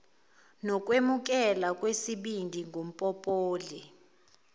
nokwemukelwa kwesibindi ngumpopoli